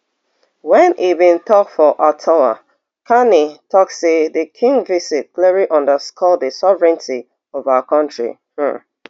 wen e bin tok for ottawa carney tok say di king visit clearly underscore di sovereignty of our kontri um